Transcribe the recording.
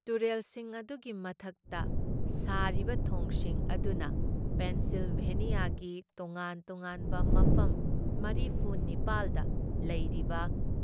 ꯇꯨꯔꯦꯜꯁꯤꯡ ꯑꯗꯨꯒꯤ ꯃꯊꯛꯇ ꯁꯥꯔꯤꯕ ꯊꯣꯡꯁꯤꯡ ꯑꯗꯨꯅ ꯄꯦꯟꯁꯤꯜꯚꯦꯅꯤꯌꯥꯒꯤ ꯇꯣꯉꯥꯟ ꯇꯣꯉꯥꯟꯕ ꯃꯐꯝ ꯃꯔꯤꯐꯨ ꯅꯤꯄꯥꯜ ꯗ ꯂꯩꯔꯤꯕ